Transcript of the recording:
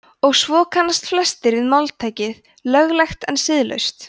og svo kannast flestir við máltækið „löglegt en siðlaust“